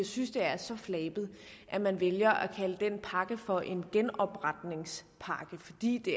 synes det er så flabet at man vælger at kalde den pakke for en genopretningspakke fordi det